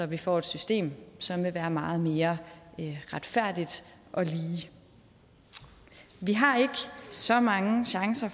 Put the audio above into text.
vi får et system som vil være meget mere retfærdigt og lige vi har ikke så mange chancer